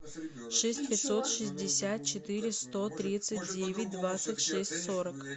шесть пятьсот шестьдесят четыре сто тридцать девять двадцать шесть сорок